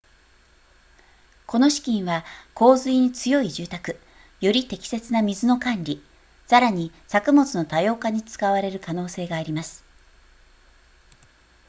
この資金は洪水に強い住宅より適切な水の管理さらに作物の多様化に使われる可能性があります